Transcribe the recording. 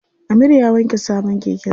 Amir ya wanke sabon keken sa.